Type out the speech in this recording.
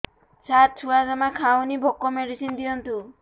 ସାର ଛୁଆ ଜମା ଖାଉନି ଭୋକ ମେଡିସିନ ଦିଅନ୍ତୁ